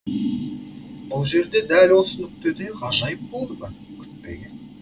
бұл жерде дәл осы нүктеде ғажайып болды ма күтпеген